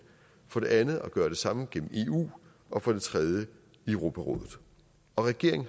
for det andet at gøre det samme gennem eu og for det tredje i europarådet og regeringen